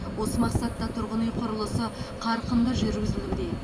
осы мақсатта тұрғын үй құрылысы қарқынды жүргізілуде